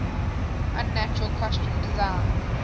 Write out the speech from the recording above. unnatural costume design